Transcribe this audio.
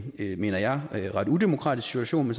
det mener jeg er en ret udemokratisk situation